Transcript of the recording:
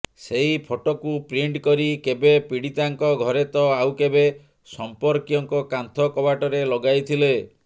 ସେହି ଫଟୋକୁ ପ୍ରିଣ୍ଟ କରି କେବେ ପୀଡ଼ିତାଙ୍କ ଘରେ ତ ଆଉ କେବେ ସମ୍ପର୍କୀୟଙ୍କ କାନ୍ଥ କବାଟରେ ଲଗାଇଥିଲେ